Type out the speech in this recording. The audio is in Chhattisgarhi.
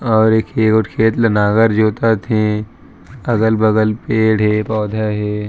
और एक खेत ल नागर जोतत हे अगल-बगल पेड़ हे पौधा हे।